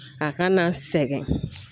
A kana sɛgɛn